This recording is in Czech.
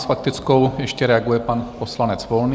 S faktickou ještě reaguje pan poslanec Volný.